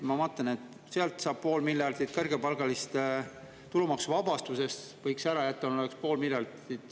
Ma vaatan, et sealt saaks pool miljardit, kõrgepalgaliste tulumaksuvabastuse ära jätmisest saaks pool miljardit.